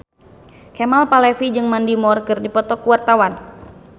Kemal Palevi jeung Mandy Moore keur dipoto ku wartawan